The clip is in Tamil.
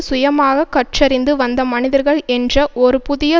சுயமாக கற்றறிந்து வந்த மனிதர்கள் என்ற ஒரு புதிய